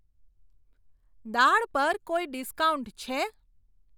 દાળ પર કોઈ ડિસ્કાઉન્ટ છે?